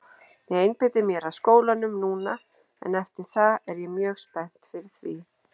Ég einbeiti mér að skólanum núna en eftir það er ég mjög spennt fyrir því.